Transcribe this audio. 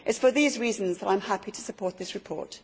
It is for these reasons that I am happy to support this report.